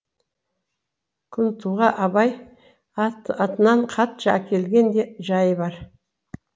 күнтуға абай атынан хатшы әкелген де жайы бар